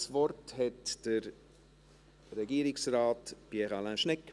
Das Wort hat Regierungsrat Pierre Alain Schnegg.